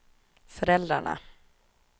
föräldrarna